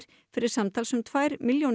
fyrir samtals um tvær milljónir